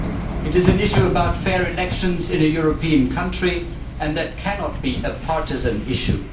It is an issue about fair elections in a European country and that cannot be a partisan issue.